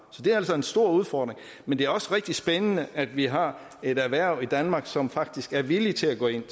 så det er altså en stor udfordring men det er også rigtig spændende at vi har et erhverv i danmark som faktisk er villigt til at gå ind